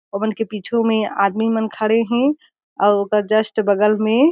ओमन के बीचो में आदमी मन खड़े हे अउ ओकर जस्ट बगल में--